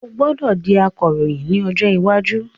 O gbọdọ di Akoroyin ni ojo iwaju.